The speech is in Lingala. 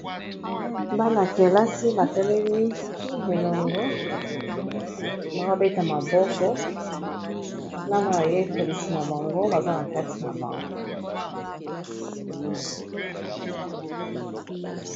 Bana-kelasi batelemi elongo baabeta maboko na bayekolisi na bango baza na kati na bango.